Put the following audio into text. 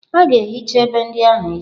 A ga-ehicha egbe ndị ahụ echi.